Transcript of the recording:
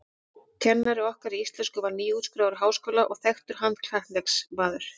Kennari okkar í íslensku var nýútskrifaður úr háskóla og þekktur handknattleiksmaður.